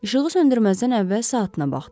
İşığı söndürməzdən əvvəl saatına baxdı.